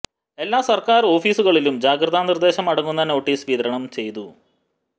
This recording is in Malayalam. എല്ലാ സര്ക്കാര് ഓഫീസുകളിലും ജാഗ്രതാ നിര്ദ്ദേശം അടങ്ങുന്ന നോട്ടീസ് വിതരണം ചെയ്തു